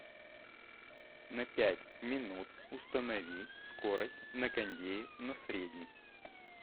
на пять минут установи скорость на кондее на средний